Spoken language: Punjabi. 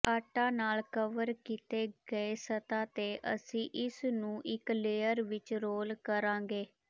ਆਟਾ ਨਾਲ ਕਵਰ ਕੀਤੇ ਗਏ ਸਤ੍ਹਾ ਤੇ ਅਸੀਂ ਇਸ ਨੂੰ ਇੱਕ ਲੇਅਰ ਵਿੱਚ ਰੋਲ ਕਰਾਂਗੇ